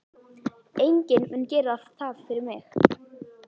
Enginn mun gera það fyrir mig.